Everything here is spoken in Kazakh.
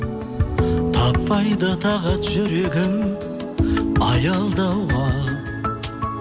таппайды тағат жүрегім аялдауға